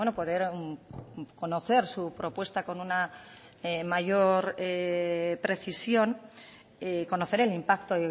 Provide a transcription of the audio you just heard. poder conocer su propuesta con una mayor precisión conocer el impacto